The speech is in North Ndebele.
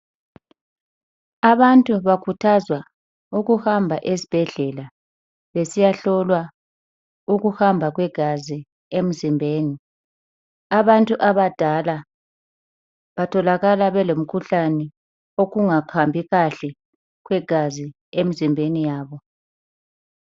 Abantu bakhuthazwa ukuhamba ezibhedlela besiyahlolwa ukuhamba kwegazi emzimbeni. Abantu abadala batholakala belomkhuhlane wokungahambi kuhle kwegazi emzimbeni yabo.